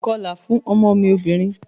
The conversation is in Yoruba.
Mi o lè kọlà fún ọmọ mí obìnrin.